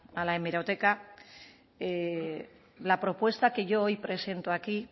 a la hemeroteca la propuesta que yo hoy presento aquí